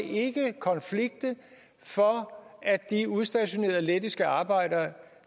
konflikte for at de udstationerede lettiske arbejdere